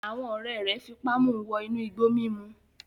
Àwọn ọ̀rẹ́ rẹ̀ fipá mu wọ inú igbó mímu